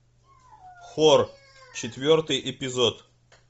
хор четвертый эпизод